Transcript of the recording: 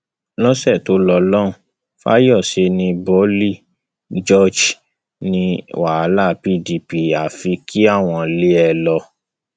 lọsẹ tó lọ lọhùnún fayose ní boli george ní wàhálà [ pdp àfi kí àwọn lé e lọ